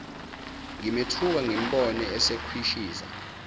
ngimethuka ngimbone esekhwishiza